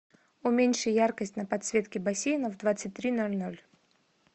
уменьши яркость на подсветке бассейна в двадцать три ноль ноль